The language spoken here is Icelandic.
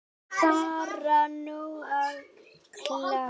Er bara nóg að klaga?